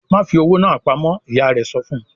"Ma fi owó náa pamọ́!" Ìyá rẹ̀ sọ fun.